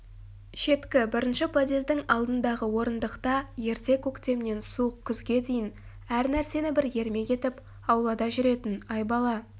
шеткі бірінші подъездің алдындағы орындықта ерте көктемнен суық күзге дейін әр нәрсені бір ермек етіп аулада жүретін айбала